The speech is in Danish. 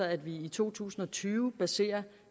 at vi i to tusind og tyve baserer